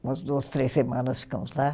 Umas duas, três semanas ficamos lá.